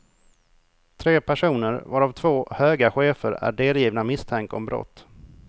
Tre personer, varav två höga chefer, är delgivna misstanke om brott.